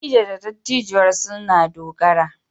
Dattijo da dattijuwar sun na dogara.